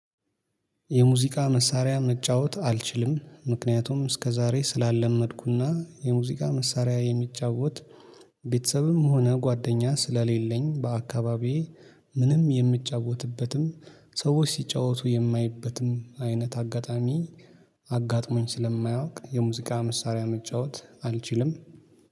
የሙዚቃ መሳሪያ መጫወት አልችልም ምክንያቱም እስከዛሬ ስላልለመድኩና የሙዚቃ መሳሪያ የሚጫወት ቤተሰብም ሆነ ጓደኛ ስለሌለኝ በአካባቢዬ። ምንም የምጫወትበትም ሰዎች ሲጫወቱ የማየበትም አይነት አጋጣሚ። አጋጥሞኝ ስለማያውቅ የሙዚቃ መሳሪያ መጫወት አልችልም